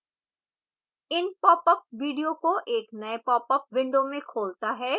in popup video को एक नए popअप window में खोलता है